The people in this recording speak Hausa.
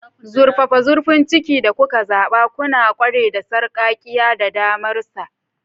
Zurfafa zurfin cikin filin da kuka zaɓa, kuna ƙware da sarƙaƙƙiya da damarsa.